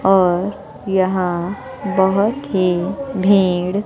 और यहां बहोत ही भेड़--